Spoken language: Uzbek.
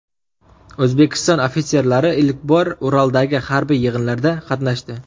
O‘zbekiston ofitserlari ilk bor Uraldagi harbiy yig‘inlarda qatnashdi.